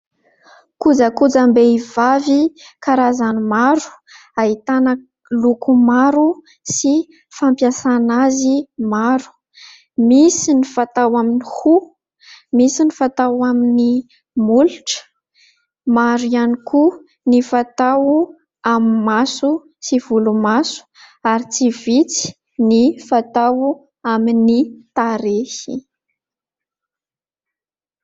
Kojakojam-behivavy karazany maro ahitana loko maro sy fampiasana azy maro, misy ny fatao amin'ny hoho misy ny fatao amin'ny molotra, maro ihany koa ny fatao amin'ny maso sy volomaso ary tsy vitsy ny fatao amin'ny tarehy.